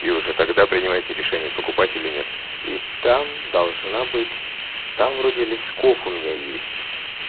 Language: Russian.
и уже тогда принимаете решение покупать или нет и там должна быть там вроде лисков у меня есть